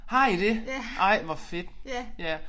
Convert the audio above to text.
Har I det? Ej hvor fedt ja